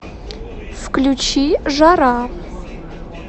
включи жара